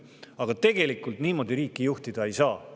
Aga tegelikult niimoodi riiki juhtida ei saa.